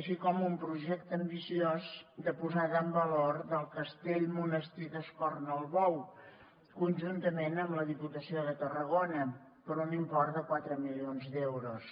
així com un projecte ambiciós de posada en valor del castell monestir d’escornalbou conjuntament amb la diputació de tarragona per un import de quatre milions d’euros